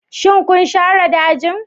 Shin kun share dajin?